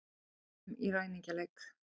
Komum í ræningjaleik.